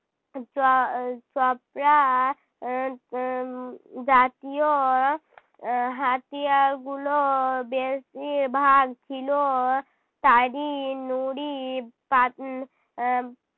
চ~ উহ চপড়া উহ এর জাতীয় উহ হাতিয়ার গুলো বেশির ভাগ ছিল নুড়ি পাথ~ উহ আহ